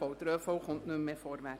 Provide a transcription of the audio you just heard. Dieser kommt nicht mehr vorwärts.